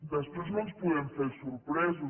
després no ens podem fer els sorpresos